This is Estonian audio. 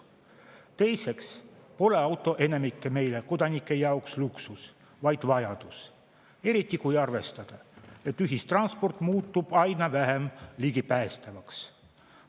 Teiseks pole auto enamiku meie kodanike jaoks luksus, vaid vajadus, eriti kui arvestada, et ühistransport muutub aina vähem ligipääsetavaks.